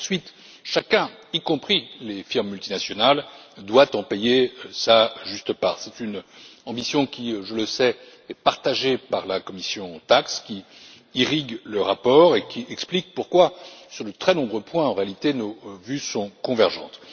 Ensuite, chacun, y compris les firmes multinationales, doit en payer sa juste part. C'est une ambition qui, je le sais, est partagée par la commission TAXE, qui irrigue le rapport et explique pourquoi sur de très nombreux points, en réalité, nos vues sont convergentes.